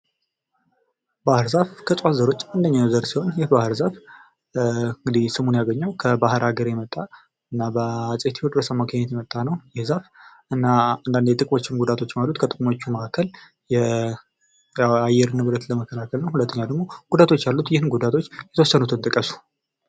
ባህር ዛፍ ከእፅዋት ዘሮች አንደኛው ዘር ሲሆን ይህ ባህር ዛፍ እንግዲህ ስሙን ያገኘው ከባህር ሀገር የመጣ እና በአፄ ቴዎድሮስ አማካኝነት የመጣ ነው ይህ ዛፍ እና አንዳንድ ጥቅሞችም ጉዳቶችም አሉት ከጥቅሞቹ መካከል የአየር ንብረት ለመከላከል ነው ። ሁለተኛው ደግሞ ጉዳቶች አሉት ይህም ጉዳቶች የተወሰኑትን ጥቀሱ ።